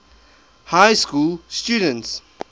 high school students